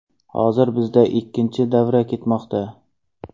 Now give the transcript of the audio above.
Hozir bizda ikkinchi davra ketmoqda.